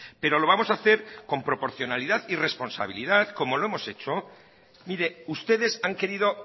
pero lo vamos a hacer con proporcionalidad y responsabilidad como lo hemos hecho mire ustedes han querido